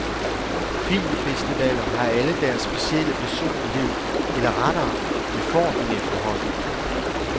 Filmfestivaler har alle deres specielle personlighed, eller rettere, de får den efterhånden.